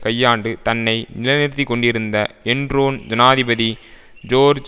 கையாண்டு தன்னை நிலைநிறுத்திக்கொண்டிருந்த என்ரோன் ஜனாதிபதி ஜோர்ஜ்